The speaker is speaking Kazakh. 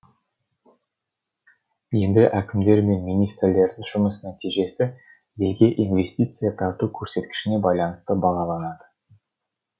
енді әкімдер мен министрлердің жұмыс нәтижесі елге инвестиция тарту көрсеткішіне байланысты бағаланады